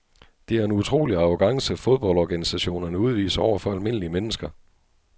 Det er en utrolig arrogance fodboldorganisationerne udviser over for almindelige mennesker.